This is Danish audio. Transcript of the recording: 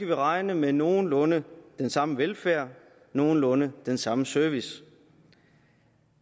vi regne med nogenlunde den samme velfærd og nogenlunde den samme service